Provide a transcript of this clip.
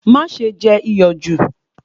Má ṣe jẹ iyọ̀ jù